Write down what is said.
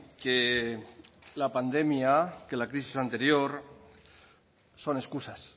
que la pandemia que la crisis anterior son excusas